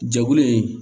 Jɛkulu in